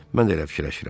Mən də elə fikirləşirəm.